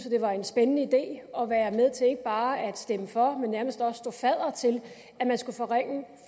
at det var en spændende idé at være med til ikke bare at stemme for men nærmest også stå fadder til